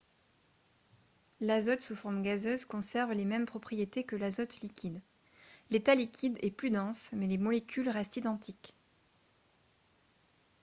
l'azote sous forme gazeuse conserve les mêmes propriétés que l'azote liquide l'état liquide est plus dense mais les molécules restent identiques